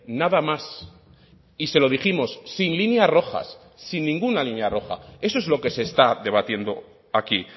nada más y se lo dijimos sin líneas rojas sin ninguna línea roja eso es lo que se está debatiendo aquí